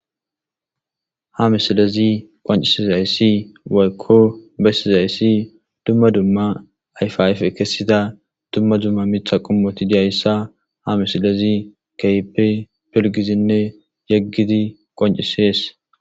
Ha misilezi qoncisizayssi waykko bessizayssi dumma dumma ayfayfe kessida dumma dumma mitha qummoti diyayssa ha misilezi keyppe pilgizinne yeggidi qoncisees